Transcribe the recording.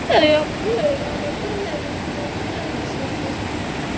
Haugabrún, Laugavörður, Neðri-Sýrdalur, Efri-Sauðabotn